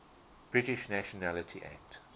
british nationality act